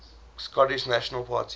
scottish national party